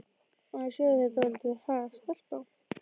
Á ég að segja þér dálítið, ha, stelpa?